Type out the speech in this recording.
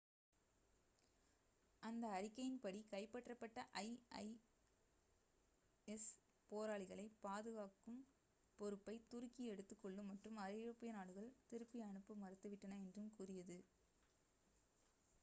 அந்த அறிக்கையின்படி கைப்பற்றப்பட்ட isis போராளிகளை பாதுகாக்கும் பொறுப்பை துருக்கி எடுத்துக்கொள்ளும் மற்றும் ஐரோப்பிய நாடுகள் திருப்பி அனுப்ப மறுத்துவிட்டன என்றும் கூறியது